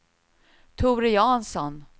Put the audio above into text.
Tore Jansson